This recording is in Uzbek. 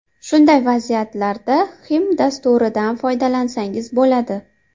Shunday vaziyatlarda Xim dasturidan foydalansangiz bo‘ladi.